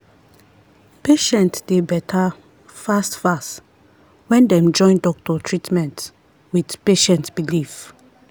patient dey better fast-fast when dem join doctor treatment with patient belief.